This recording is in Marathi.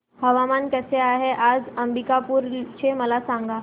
हवामान कसे आहे आज अंबिकापूर चे मला सांगा